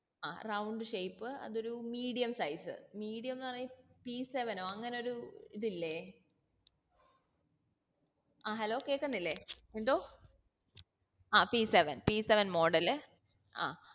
ആ round shape അതൊരു medium size medium ന്ന് പറയ് പി seven ഒ അങ്ങനൊരു ഇതില്ലേ ആ hello കേക്കന്നില്ലേ എന്തോ ആ p seven p seven ആ